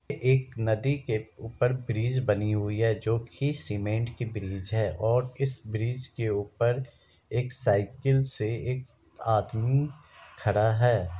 एक नदी के ऊपर ब्रिज बनी हुई है जो की सीमेंट की ब्रिज है और इस ब्रिज के ऊपर एक साइकिल से एक आदमी खड़ा है।